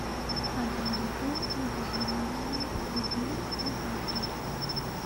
один литр негазированной воды бон аква